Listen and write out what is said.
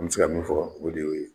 An bɛ se ka min fɔ o de y'o ye.